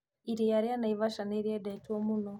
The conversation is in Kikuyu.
Iria rĩa Naivasha nĩrĩendetwo muno